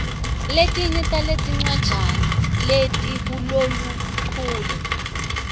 letinye taletincwajana letikuloluchule